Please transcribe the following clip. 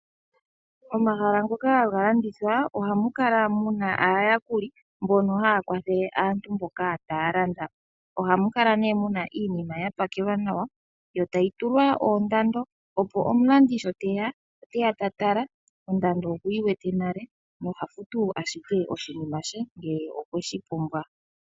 Omahala ngoka hagalandithwa ohamu kala muna aayakuli mbono haya kwathele aantu mboka taya landa. Ohamu kala ne muna iinima yapakelwa nawa yo tayi tulwa oondando, opo omulandi sho teya, oteya tatala oshoka ondando okuyi wete nale nohafu ashike oshinima she ngele okweshi pumbwa.